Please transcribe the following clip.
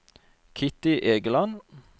Kitty Egeland